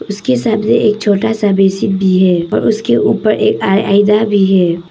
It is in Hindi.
उसके सामने एक छोटा सा बेसिन भी है और उसके ऊपर आ आईना भी है।